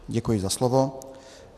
Děkuji za slovo.